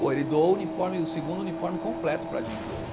Pô, ele doou o uniforme, o segundo uniforme completo para a gente hoje.